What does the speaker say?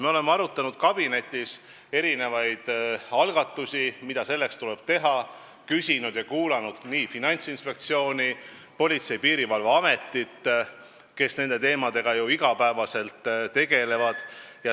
Me oleme arutanud kabinetis erinevaid algatusi, mida selleks tuleb teha, küsitlenud ja kuulanud Finantsinspektsiooni, Politsei- ja Piirivalveametit, kes nende teemadega ju iga päev tegelevad.